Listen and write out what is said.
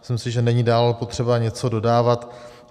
Myslím si, že není dále potřeba něco dodávat.